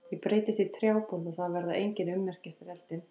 Ég breytist í trjábol og það verða engin ummerki eftir eldinn.